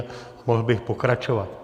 A mohl bych pokračovat.